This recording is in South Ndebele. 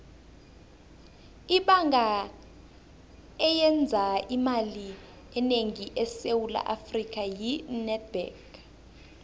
ibhanga eyenza imali enengi esewula afrika yi nedbank